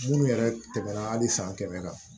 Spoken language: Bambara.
Munnu yɛrɛ tɛmɛna hali san kɛmɛ kan